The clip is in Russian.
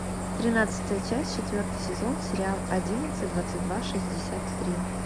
тринадцатая часть четвертый сезон сериал одиннадцать двадцать два шестьдесят три